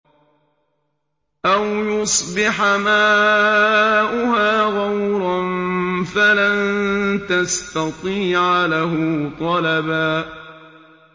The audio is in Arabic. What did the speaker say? أَوْ يُصْبِحَ مَاؤُهَا غَوْرًا فَلَن تَسْتَطِيعَ لَهُ طَلَبًا